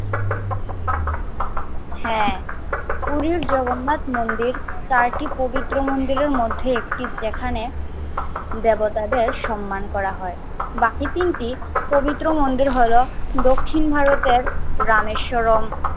হ্যাঁ পুরুষ জগন্নাথ মন্দির চারটি পবিত্র মন্দিরের মধ্যে একটি যেখানে দেবতাদের সম্মান করা হয়। বাকি তিনটি পবিত্র মন্দির হল দক্ষিণ ভারতের রামেশ্বরম